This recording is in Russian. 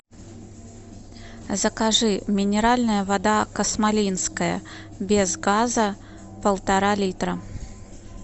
закажи минеральная вода космолинская без газа полтора литра